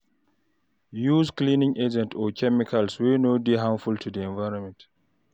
Use cleaning agents or chemicals wey no dey harmful to environment